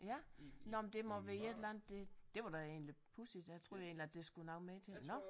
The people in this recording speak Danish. Ja nåh men det må være et eller andet det det var da egentlig pudsigt jeg troede egentlig at der skulle noget mere til nåh